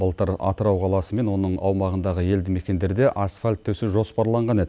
былтыр атырау қаласы мен оның аумағындағы елді мекендерде асфальт төсеу жоспарланған еді